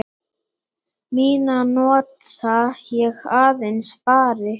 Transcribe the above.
Mína nota ég aðeins spari.